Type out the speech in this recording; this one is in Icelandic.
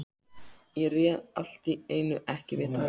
Ég réð allt í einu ekki við tárin.